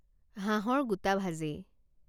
হাঁহৰ গোটা ভাজি